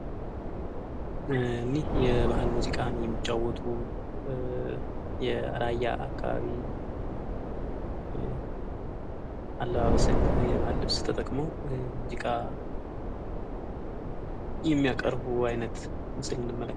እኒህ የባህል ሙዚቃን የሚጫወቱ የራያ አካባቢ አለባበስን የባህል ልብስ ተጠቅመው የሚያቀርቡ አይነት ምስል እንመለከታለን።